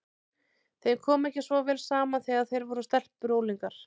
Þeim kom ekki svo vel saman þegar þær voru stelpur og unglingar.